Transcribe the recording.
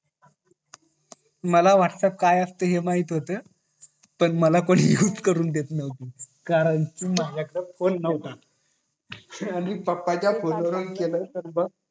मला वाट काय असत हे माहित होत पण मला कोण यूज नव्हतं करून देत कारण कि माझ्या कडे फोन नव्हता आणि पप्पा च्या फोन वरून केला तर मंग